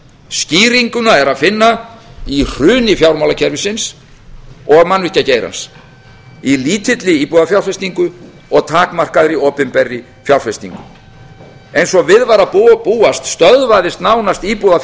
skýringuna er að finna í hruni fjármálakerfisins og mannvirkjageirans í lítilli íbúðafjárfestingu og takmarkaðri opinberri fjárfestingu eins og við var að búast stöðvaðist nánast